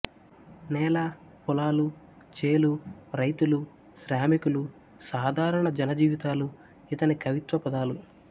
నేలా పొలాలూ చేలూ రై తులూ శ్రామికులూ సాదారణ జన జీవితాలూ ఇతని కవిత్వ పాదాలు